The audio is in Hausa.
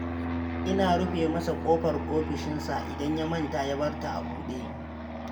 Ina rufe masa ƙofar ofishinsa, idan ya manta, ya bar ta a buɗe.